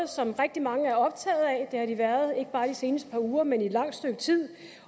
som rigtig mange er optaget af de været ikke bare de seneste par uger men i et langt stykke tid